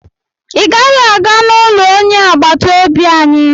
ị gaghị aga n'ụlọ onye agbata obi anyị!